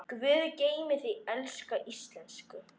Guð geymi þig, elsku Ísak.